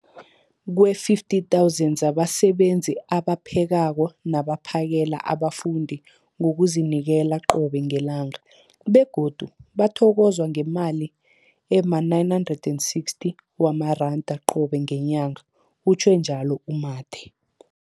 50 000 zabasebenzi abaphekako nabaphakela abafundi ngokuzinikela qobe ngelanga, begodu bathokozwa ngemali ema-960 wamaranda qobe ngenyanga, utjhwe njalo u-Mathe.